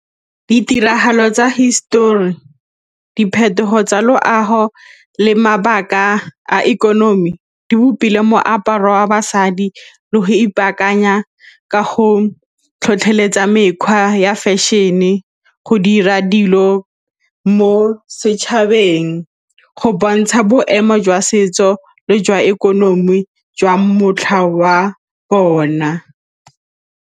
Ditiragalo tsa hisetori, diphetogo tsa loago le mabaka a ikonomi di bopile moaparo wa basadi le go ipaakanya ka go tlhotlheletsa mekgwa ya fashion-e go dira dilo mo setšhabeng, go bontsha boemo jwa setso le jwa ikonomi jwa motlha wa bona.